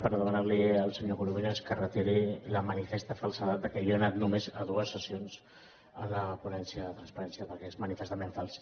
per demanar li al senyor corominas que retiri la manifesta falsedat que jo he anat només a dues sessions de la ponència de la transparència perquè és manifestament fals